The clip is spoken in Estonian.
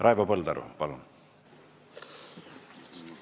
Raivo Põldaru, palun!